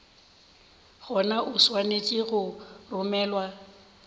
gona o swanetše go romelwa